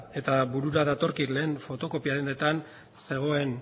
eta burura datorkit lehen fotokopia dendetan zegoen